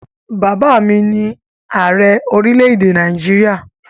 Bàbá mi ni Ààrẹ orílẹ̀èdè Nàìjíríà